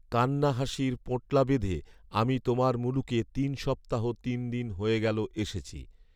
কান্না হাসির পোঁটলা বেঁধে আমি তোমার মুলুকে তিন সপ্তাহ তিন দিন হয়ে গেল এসেছি